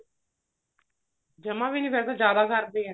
ਜਮਾ ਵੀ ਨੀ ਫ਼ੇਰ ਤਾਂ ਜਿਆਦਾ ਕਰਦੇ ਆ